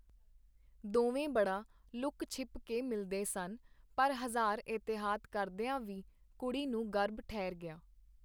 ਦੋਵੇਂ ਬੜਾ ਲੁਕ-ਛਿਪ ਕੇ ਮਿਲਦੇ ਸਨ, ਪਰ ਹਜ਼ਾਰ ਇਹਤਿਆਤ ਕਰਦੀਆਂ ਵੀ ਕੁੜੀ ਨੂੰ ਗਰਭ ਠਹਿਰ ਗਿਆ.